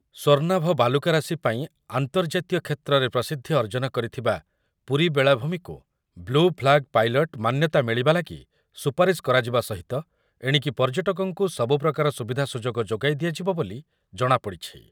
ସ୍ୱର୍ଣ୍ଣାଭ ବାଲୁକାରାଶି ପାଇଁ ଆନ୍ତର୍ଜାତୀୟ କ୍ଷେତ୍ରରେ ପ୍ରସିଦ୍ଧି ଅର୍ଜନ କରିଥିବା ପୁରୀ ବେଳାଭୂମିକୁ ବ୍ଲୁ ଫ୍ଲାଗ ପାଇଲଟ ମାନ୍ୟତା ମିଳିବା ଲାଗି ସୁପାରୀଶ କରାଯିବା ସହିତ ଏଣିକି ପର୍ଯ୍ୟଟକଙ୍କୁ ସବୁପ୍ରକାର ସୁବିଧା ସୁଯୋଗ ଯୋଗାଇ ଦିଆଯିବ ବୋଲି ଜଣା ପଡ଼ିଛି